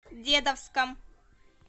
дедовском